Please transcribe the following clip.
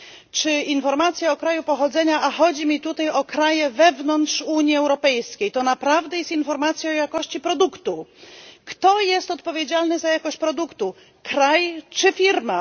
Czy informacja o kraju pochodzenia, a chodzi mi tutaj o kraje wewnątrz Unii Europejskiej, to naprawdę jest informacja o jakości produktu, kto jest odpowiedzialny za jakość produktu kraj czy firma?